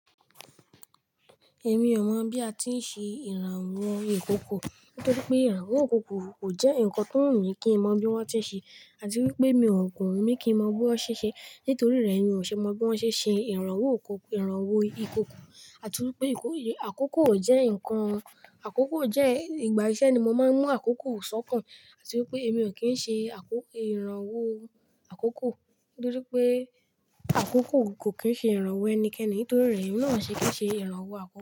Èmi ọmọ, bí a ti ń ṣe ìrànwọ́ ìkòkò. Nítorí pé ìrànwọ́ ìkòkò kò jẹ́ nǹkan tó wù mí kí n mọ bí wọ́n ti ń ṣe àti wípé mi ò gùn mí kí n mọ bí wọ́n ṣe ṣe. Nítorí rẹ̀ mi ò ṣe mọ bí wọ́n ṣe ṣe ìrànwọ́ ìkòkò. Àti wípé àkókò jẹ́ nǹkan, àkókò jẹ́ ìgbà ẹsẹ ni mo máa ń mú àkókò sọ́kàn. Àti wípé èmi ò kí ń ṣe àkókò ìrànwọ́ àkókò. Nítorí pé àkókò kò kín ṣe ìrànwọ́ ẹnikẹ́ni. Nítorí rẹ̀, iná ṣe kí ń ṣe ìrànwọ́ àkókò.